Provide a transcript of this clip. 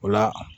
O la